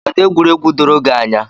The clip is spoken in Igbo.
Kedụ egwuregwu doro gị anya?